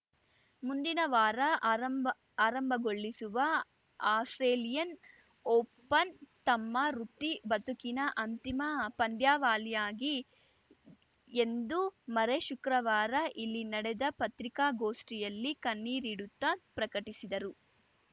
ಮುಂದಿನ ವಾರ ಆರಂಭಆರಂಭಗೊಳ್ಳಿಸುವ ಆಸ್ಪ್ರೇಲಿಯನ್‌ ಓಪನ್‌ ತಮ್ಮ ವೃತ್ತಿ ಬದುಕಿನ ಅಂತಿಮ ಪಂದ್ಯಾವಳಿಯಾಗಿ ಎಂದು ಮರ್ರೆ ಶುಕ್ರವಾರ ಇಲ್ಲಿ ನಡೆದ ಪತ್ರಿಕಾಗೋಷ್ಠಿಯಲ್ಲಿ ಕಣ್ಣೀರಿಡುತ್ತಾ ಪ್ರಕಟಿಸಿದರು